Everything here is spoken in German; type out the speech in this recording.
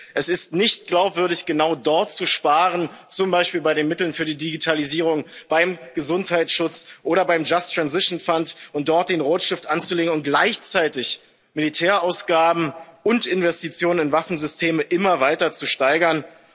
Es ist nicht glaubwürdig, genau dort zu sparen zum Beispiel bei den Mitteln für die Digitalisierung, beim Gesundheitsschutz oder beim Just Transition Fund dort den Rotstift anzusetzen und gleichzeitig Militärausgaben und Investitionen in Waffensysteme immer weiter zu steigern.